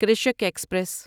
Krishak express